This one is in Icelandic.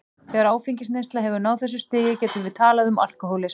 Þegar áfengisneysla hefur náð þessu stigi getum við talað um alkohólisma.